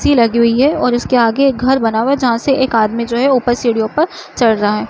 कुर्सी लगी हुई है और उसके आगे एक घर बना हुआ है जहाँ से एक आदमी जो है ऊपर सीढ़ियों पर चढ़ रहा है।